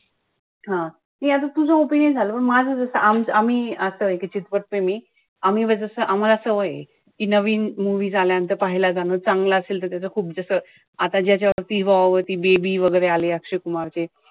हा नाई आता तुझं opinion झालं. पण माझं जस आमचं आम्ही आता एक मी. आम्ही जस आम्हाला सवय ए. कि नवीन movies आल्यानंतर पाहायला जाणं. चांगलं असेल त त्याच खूप जे असं आता ज्याच्यावरती ती baby वगैरे आले अक्षय कुमारचे.